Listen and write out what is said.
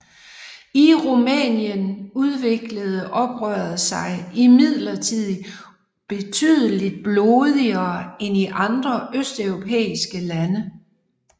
I Rumænien udviklede oprøret sig imidlertid betydeligt blodigere end i andre østeuropæiske lande